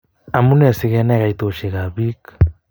Amunee sikenai kaitoshek ab pik